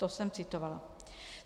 To jsem citovala.